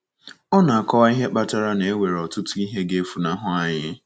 Ọ na - akọwa ihe kpatara na “ E nwere ọtụtụ ihe ga - efunahụ anyị.